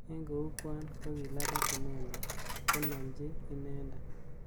Eng kou kwan kokilapat inendet konomchi inendet.